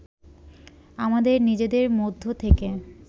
আমাদের নিজেদের মধ্য থেকে